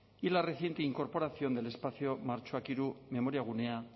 y la reciente incorporación del espacio martxoak tres memoriagunea